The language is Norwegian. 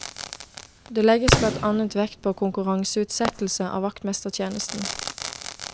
Det legges blant annet vekt på konkurranseutsettelse av vaktmestertjenesten.